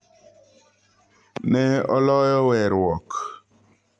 Ne oloyo weruok.